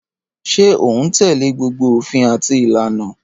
Ṣé o un tẹ́lẹ̀ gbogbo òfin àti ìlànà?